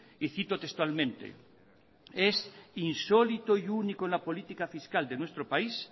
y cito textualmente es insólito y único en la política fiscal de nuestro país